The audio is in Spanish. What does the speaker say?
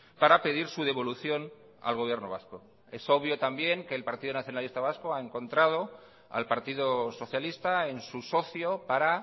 para pedir su devolución al gobierno vasco es obvio también que el partido nacionalista vasco ha encontrado al partido socialista en su socio para